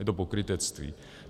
Je to pokrytectví.